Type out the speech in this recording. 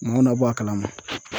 Nɔn na bɔ a kalama.